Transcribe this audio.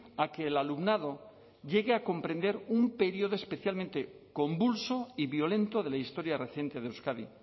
a que el alumnado llegue a comprender un periodo especialmente convulso y violento de la historia reciente de euskadi